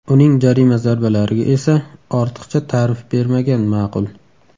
Uning jarima zarbalariga esa ortiqcha tarif bermagan ma’qul.